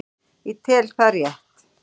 Ég tel það rétt.